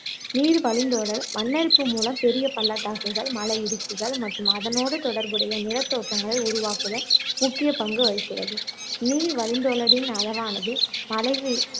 நீர் வழிந்தோடல் மண்ணரிப்பு மூலம் பெரிய பள்ளத்தாக்குகள் மலை இடுக்குகள் மற்றும் அதனோடு தொடர்புடைய நிலத்தோற்றங்களை உருவாக்குதல் முக்கிய பங்குவகிக்கிறது நீர் வழிந்தோடலின் அளவானது மழை வீழ்